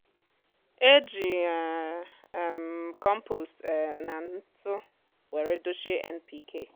e jị um um m kompost um nà ntụ were dochie npk